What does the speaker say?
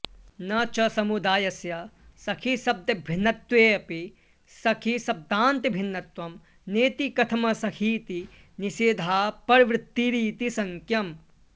न च समुदायस्य सखिशब्दभिन्नत्वेऽपि सखिशब्दान्तभिन्नत्वं नेति कथमसखीति निषेधाऽपर्वृत्तिरिति शङ्क्यम्